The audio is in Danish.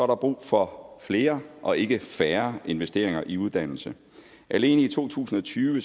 der brug for flere og ikke færre investeringer i uddannelse alene i to tusind og tyve